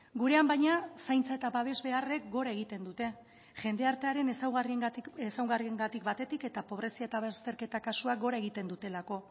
gurean baina zaintza eta babes beharrek gora egiten dute jende artearen ezaugarriengatik batetik eta pobrezia eta bazterketa kasuak gora egiten dutelako